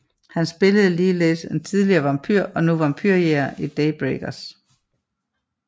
Han spillede ligeledes en tidligere vampyr og nu vampyrjægeren i Daybreakers